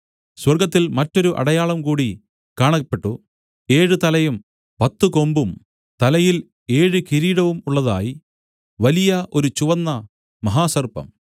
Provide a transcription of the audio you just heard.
സ്വർഗ്ഗത്തിൽ മറ്റൊരു അടയാളം കൂടി കാണപ്പെട്ടു ഏഴ് തലയും പത്തു കൊമ്പും തലയിൽ ഏഴ് കിരീടവും ഉള്ളതായി വലിയ ഒരു ചുവന്ന മഹാസർപ്പം